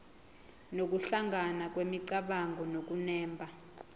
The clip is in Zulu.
nokuhlangana kwemicabango nokunemba